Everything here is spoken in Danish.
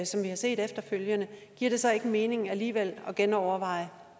som vi har set efterfølgende giver det så ikke mening alligevel at genoverveje